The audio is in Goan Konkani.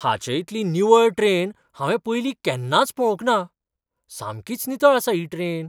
हाचे इतली निवळ ट्रेन हांवें पयलीं केन्नाच पळोवंक ना! सामकीच नितळ आसा ही ट्रेन!